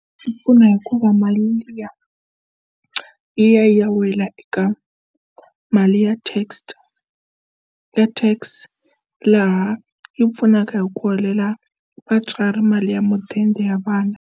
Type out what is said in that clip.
Yi pfuna hikuva mali liya yi ya yi ya wela eka mali ya text ya tax laha yi pfunaka hi ku helela vatswari mali ya mudende ya vana.